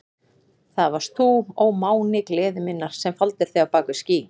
Það varst þú, ó máni gleði minnar, sem faldir þig á bak við ský.